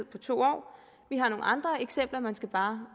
på to år vi har nogle andre eksempler man skal bare